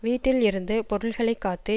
வீட்டில் இருந்து பொருள்களை காத்து